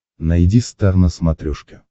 найди стар на смотрешке